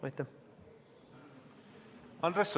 Andres Sutt, palun!